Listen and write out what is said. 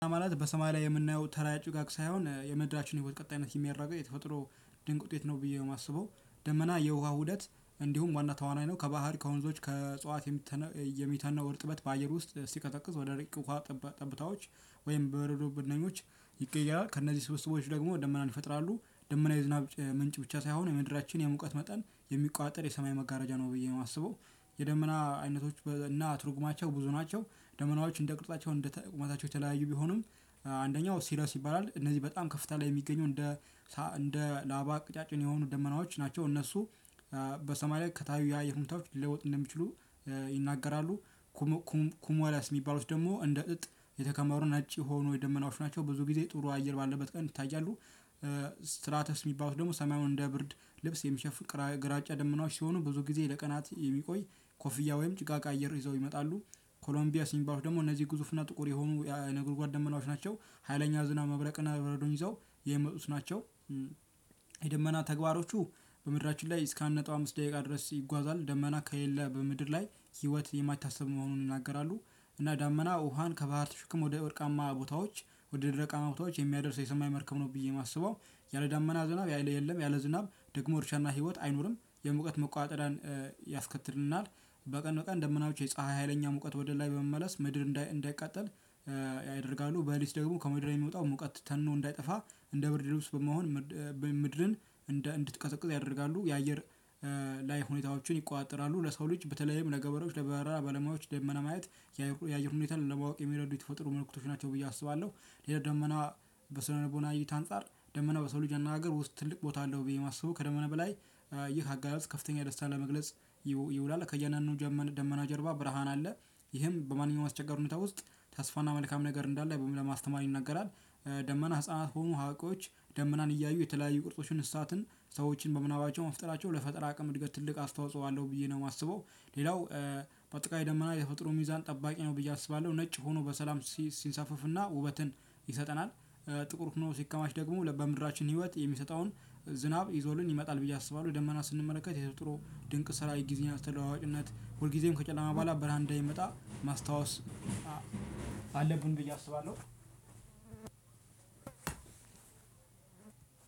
ማለት በሰማይ ላይ የምናየው ተራ ጭጋግ ሳይሆን የምድራችን ህይወት ቀጣይነት የሚያረጋግጥ የተፈጥሮ ድንቅ ውጤት ነው ብዬ ነው ማስበው። ደመና የውሃ ውደት እንዲሁም ዋና ተዋናይ ነው ከባህር ከወንዞች ከጽዋት የሚተነው እርጥበት በአየር ውስጥ ሲቀዘቅዝ ወደ ረቂቅ ውሃ ጠብታዎች ወይም በረዶ ብነኞች ይቀየራል ከእነዚህ ስብሰቦች ደግሞ ደመናን ይፈጥራሉ ደመና የዝናብ ምንጭ ብቻ ሳይሆን የምድራችን የሙቀት መጠን የሚቆጣጠር የሰማይ መጋረጃ ነው ብዬ ነው የማስበው። የደመና አይነቶች እና ትርጉማቸው ብዙ ናቸው። ደመናዎች እንደ ቅርፃቸው እንደ ቁማታቸው የተለያዩ ቢሆኑም አንደኛው ሲሪዮስ ይባላል እነዚህ በጣም ከፍታ ላይ የሚገኘው እንደ እንደ ላባ ቅጫጭን የሆኑ ደመናዎች ናቸው እነሱ በሰማይ ላይ ከታዩ የአየር ሁኔታዎች ሊለውጥ እንደሚችሉ ይናገራሉ። ኩሙላስ የሚባሉት ደግሞ እንደ እጥ የተከመሩ ነጭ የሆኑ የደመናዎች ናቸው ብዙ ጊዜ ጥሩ አየር ባለበት ቀን ይታያሉ። ስትራተስ ሚባሉት ደግሞ ሰማዩን እንደ ብርድ ልብስ የሚሸፍ ግራጫ ደመናዎች ሲሆኑ ብዙ ጊዜ ለቀናት የሚቆይ ኮፍያ ወይም ጭጋግ አየር ይዘው ይመጣሉ። ኮሎምቢያስ የሚባሉት ደግሞ እነዚህ ግዙፍ እና ጥቁር የሆኑ የነገርጓድ ደመናዋች ናቸው ሀይለኛ ዝናብ መብረቅና በረዶ ይዘው የሚመጡት ናቸው። የደመና ተግባሮቹ በምድራችን ላይ እስከ አንድ ነጥብ አምስት ደቂቃ ድረስ ይጓዛል ደመና ከሌለ በምድር ላይ ህይወት የማይታስብ መሆኑን ይናገራሉ። እና ዳመና ውሃን ከባህር ተሽክሞ ወደ ወርቃማ ቦታዎች ወደ ደረቃማ ቦታዎች የሚያደርስ የሰማይ መርከብ ነው ብዬ ማስበው። ያለ ዳመና ዝናብ ያለ የለም ያለ ዝናብ ደግሞ እርሻና ህይወት አይኖርም። የሙቀት መቆጣጠሪያን ያስከትልናል። በቀን በቀን ደመናዎች የፀሀይ ሀይለኛ ሙቀት ወደ ላይ በመመለስ ምድር እንዳይቃጠል ያደርጋሉ። በለሊት ደግሞ ከምድር የሚወጣው ሙቀት ተኖ እንዳይጠፋ እንደ ብርድ ልብስ በመሆን ምድርን እንድትቀዘቅዝ ያደርጋሉ። የአየር ላይ ሁኔታዎችን ይቆጣጠራሉ። ለሰው ልጅ በተለይም ለገበሬዎች ለበረራ ባለሙያዎች ደመና ማየት የአየር ሁኔታን ለማወቅ የሚረዱ የተፈጥሮ ምልክቶች ናቸው ብዬ አስባለሁ። ደመና በስነ ልቦና እይታ አንፃር ደመና በሰው ልጅ አነጋገር ውስጥ ትልቅ ቦታ አለው። ብዬ ማስበው ከደመና በላይ ይህ አገላለጽ ከፍተኛ ደስታ ለመግለጽ ይውላል። ከያንዳንዱ ጀመን ደመና ጀርባ ብርሃን አለ። ይህም በማንኛውም አስቸጋሪ ሁኔታ ውስጥ ተስፋና መልካም ነገር እንዳለ ለማስተማር ይነገራል። ደመና ህፃናት ሆኖ ሀዋቂዎች ደመናን እያዩ የተለያዩ ቅርጾችን እንስሳትን ሰዎችን በምናባቸው መፍጠራቸው ለፈጠራ አቅም እድገት ትልቅ አስተዋጽኦ አለው ብዬ ነው ማስበው። ሌላው ባጠቃላይ ደመና የተፈጥሮ ሚዛን ጠባቂ ነው ብዬ አስባለሁ ነጭ ሆኖ በሰላም ሲንሳፈፍና ውበትን ይሰጠናል። ጥቁር ሁኖ ሲከማች ደግሞ በምድራችን ህይወት የሚሰጠውን ዝናብ ይዞልን ይመጣል ብዬ አስባለሁ። ደመና ስንመለከት የተጥሮ ድንቅ ስራ የጊዜን አስተለዋዋጭነት ሁልጊዜም ከጨለማ በኋላ በራን እንደሚመጣ ማስታወስ አለብን ብዬ አስባለሁ።